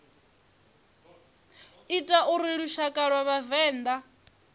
ita uri lushaka lwa vhavenḓa